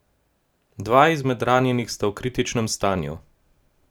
Dva izmed ranjenih sta v kritičnem stanju.